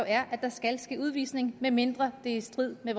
er det skal ske udvisning medmindre det er i strid med